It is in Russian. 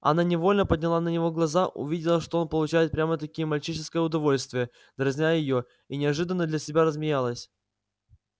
она невольно подняла на него глаза увидела что он получает прямо-таки мальчишеское удовольствие дразня её и неожиданно для себя рассмеялась